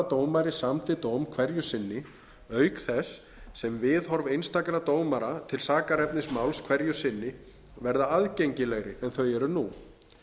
dómari samdi dóm hverju sinni auk þess sem viðhorf einstakra dómara til sakarefnis máls hverju sinni verði aðgengilegri en þau eru nú